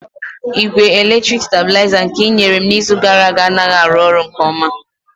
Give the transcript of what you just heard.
Igwe eletriki stabilizer nke i nyere m n'izu gara aga anaghị arụ ọrụ nke ọma